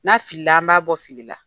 N'a filila an b'a bɔ fili la.